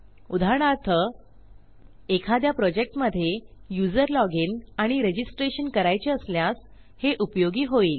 उदाहरणार्थ एखाद्या प्रॉजेक्टमधे युजर लॉजिन आणि registrationकरायचे असल्यास हे उपयोगी होईल